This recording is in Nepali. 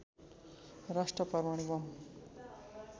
राष्ट्र परमाणु बम